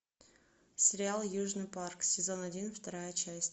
сериал южный парк сезон один вторая часть